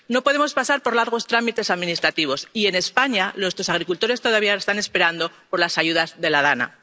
trámites. No podemos pasar por largos trámites administrativos, y en España nuestros agricultores todavía están esperando las ayudas de